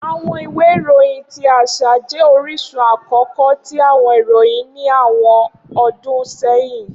Awọn iwe iroyin ti aṣa jẹ orisun akọkọ ti awọn iroyin ni awọn ọdun sẹhin.